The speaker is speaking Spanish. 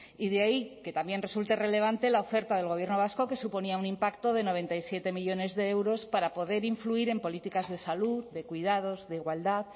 y de ahí que también resulte relevante la oferta del gobierno vasco que suponía un impacto de noventa y siete millónes de euros para poder influir en políticas de salud de cuidados de igualdad